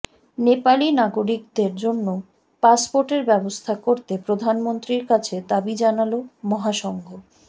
নেপালি নাগরিকদের জন্য পাসপোর্টের ব্যবস্থা করতে প্ৰধানমন্ত্ৰীর কাছে দাবি জানালো মহাসংঘ